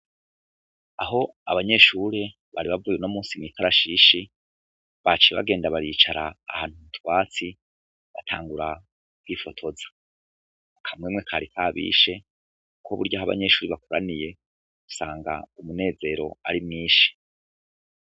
Aho abanyeshure bari bavuye uno munsi mwikarashishi baciye bagenda baricara ahantu hari utwatsi batangura kwifotoza akamwemwe kari kabishe kuko burya aho abanyeshure bakoraniye usanga umunezero ari mwinshi.